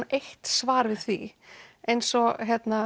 eitt svar við því eins og